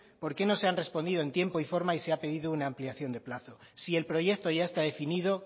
por qué no se han respondido en tiempo y forma y se ha pedido una ampliación de plazos si el proyecto ya está definido